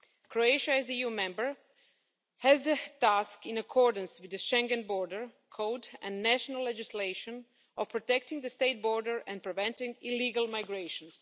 Croatia as an EU member has the task, in accordance with the Schengen Border Code and national legislation, of protecting the state border and preventing illegal migration.